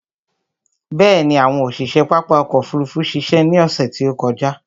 Bẹ̀ẹ̀ni, àwọn òṣiṣe pápá ọkò òfurufú ṣiṣẹ́ ní ọsẹ̀ tí ó kọjá.